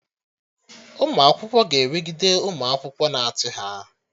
Ụmụ akwụkwọ ga-enwegide ụmụ akwụkwọ na-achị ha